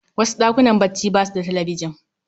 Wasu ɗakunan bacci basu da talbijan.